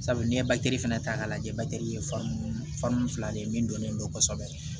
Sabu n'i ye fana ta k'a lajɛ ye fan fila de ye min dɔnnen don kosɛbɛ